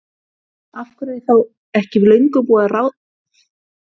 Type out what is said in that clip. Af hverju er þá ekki löngu búið að reka Óla og ráða nýjan?